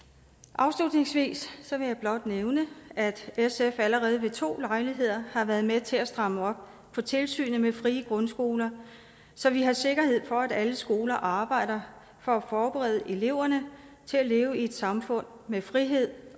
afslutningsvis vil jeg blot nævne at sf allerede ved to lejligheder har været med til at stramme op på tilsynet med frie grundskoler så vi har sikkerhed for at alle skoler arbejder for at forberede eleverne til at leve i et samfund med frihed